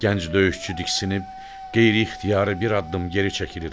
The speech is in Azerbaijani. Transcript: Gənc döyüşçü diksinib qeyri-ixtiyari bir addım geri çəkilir.